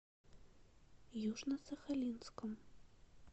южно сахалинском